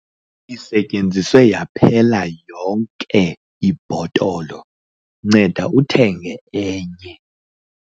isetyenziswe yonke yaphela ibhotolo, nceda thenga enye